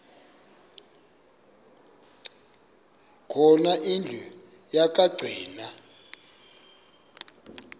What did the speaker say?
khona indlu yokagcina